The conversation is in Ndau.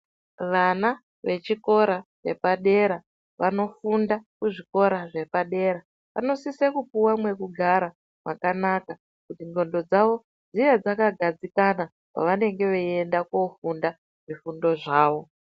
Vana vechikora chepadera vanofunda kuzvikora zvepadera vanosise kupuwe mwekugara mwakanaka kuti ndxondo dzavo dzive dzakagadzikana pavanenge veienda kofunda zvifundo zvavo.